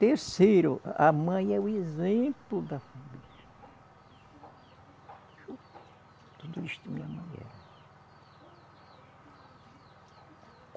Terceiro, a mãe é o exemplo da família (voz embargada). Tudo isto minha mãe era